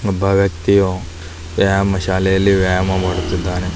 ವ್ಯಾಯಾಮ ಶಾಲೆಯಲ್ಲಿ ವ್ಯಾಯಾಮ ಮಾಡುತ್ತಿದ್ದರೆ .